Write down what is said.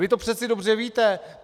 Vy to přece dobře víte!